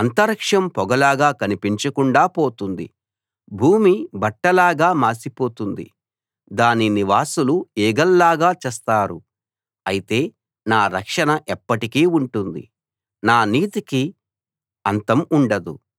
అంతరిక్షం పొగలాగా కనిపించకుండా పోతుంది భూమి బట్టలాగా మాసిపోతుంది దాని నివాసులు ఈగల్లాగా చస్తారు అయితే నా రక్షణ ఎప్పటికీ ఉంటుంది నా నీతికి అంతం ఉండదు